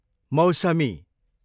मौसमी